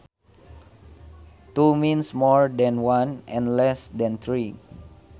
Two means more than one and less than three